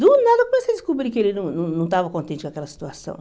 Do nada, eu comecei a descobrir que ele não não não estava contente com aquela situação.